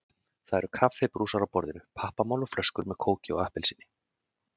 Það eru kaffibrúsar á borðinu, pappamál og flöskur með kóki og appelsíni.